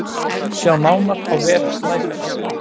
Sjá nánar á vef Snæfells